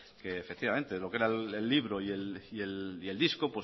que efectivamente lo que era el libro y el disco